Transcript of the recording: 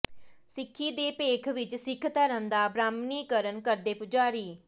ਸਿੱਖੀ ਦੇ ਭੇਖ ਵਿਚ ਸਿੱਖ ਧਰਮ ਦਾ ਬ੍ਰਾਹਮਣੀਕਰਨ ਕਰਦੇ ਪੁਜਾਰੀ